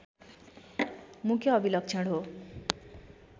मुख्य अभिलक्षण हो